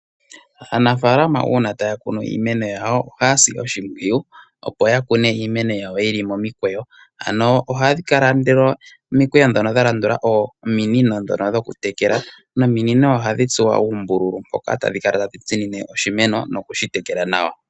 Aanafalama una taya kunu iimeno yawo, ohaya si oshimpwiyu opo ya kune iimeno yawo yili momikweyo, ano ohadhi kala nduno omikweyo dhono dha landula ominino dhono dhoku tekela nominino ohadhi tsuwa uumbululu mboka tadhi kala tadhi tsinine oshimeno nokushi tekela nawa.